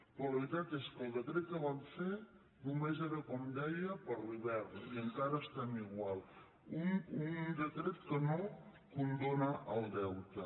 però la veritat és que el decret que van fer només era com deia per a l’hivern i encara estem igual un decret que no condona el deute